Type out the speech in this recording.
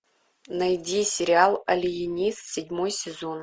найди сериал алиенист седьмой сезон